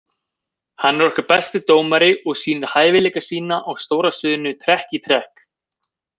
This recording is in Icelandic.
Hann er okkar besti dómari og sýnir hæfileika sína á stóra sviðinu trekk í trekk.